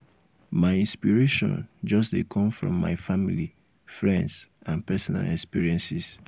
my inspiration just dey come from my family friends and personal experiences.